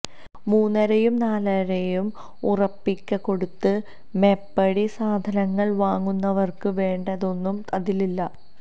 മൂന്നരയും നാലരയും ഉറുപ്പിക കൊടുത്ത് മേപ്പടി സാധനങ്ങള് വാങ്ങുന്നവര്ക്ക് വേണ്ടതൊന്നും അതിലില്ല